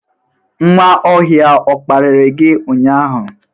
Nwaohia ọ kparịrị gị ụnyahụ?